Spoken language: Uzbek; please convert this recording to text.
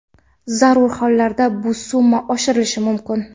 Zarur hollarda bu summa oshirilishi mumkin.